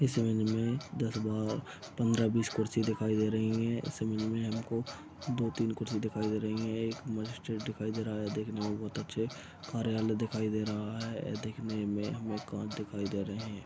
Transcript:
इस विंग में दस बा ..बार पंद्रह बीस कुर्सी दिखाई दे रही हैं इस विंग में हमको दो तीन कुर्सी दिखाई दे रही है एक दिखाई दे रहा है देखने में बहोत अच्छे कार्यालय दिखाई दे रहा हैदेखने में हमे कांच दिखाई दे रहे है।